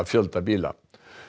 fjölda bíla